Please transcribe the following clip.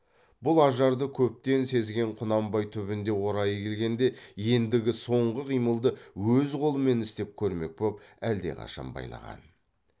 бұл ажарды көптен сезген құнанбай түбінде орайы келгенде ендігі соңғы қимылды өз қолымен істеп көрмек боп әлдеқашан байлаған